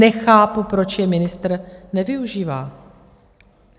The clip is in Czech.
Nechápu, proč je ministr nevyužívá.